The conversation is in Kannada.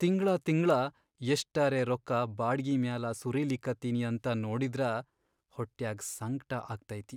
ತಿಂಗ್ಳಾ ತಿಂಗ್ಳ ಎಷ್ಟರೇ ರೊಕ್ಕಾ ಬಾಡ್ಗಿ ಮ್ಯಾಲ ಸುರೀಲಿಕತ್ತೀನಿ ಅಂತ ನೋಡಿದ್ರ ಹೊಟ್ಯಾಗ್ ಸಂಕ್ಟ ಆಗ್ತೈತಿ.